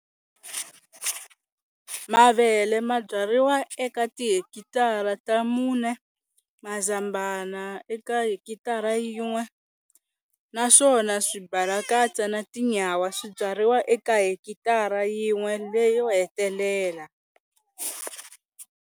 Mavele ma byariwa eka tihekitara ta mune, mazambhana eka hekitara yin'we, naswona swibalakatsa na tinyawa swi byariwa eka hekitara yin'we leyo hetelela.